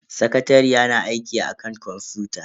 Sakatariyar na aiki akan kwamfuta.